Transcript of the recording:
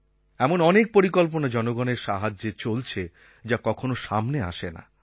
এমন অনেক পরিকল্পনা জনগণের সাহায্যে চলছে যা কখনও সামনে আসে না